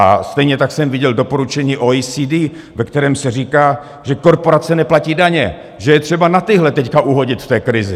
A stejně tak jsem viděl doporučení OECD, ve kterém se říká, že korporace neplatí daně, že je třeba na tyhle teď uhodit v té krizi.